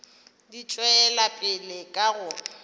di tšwela pele ka go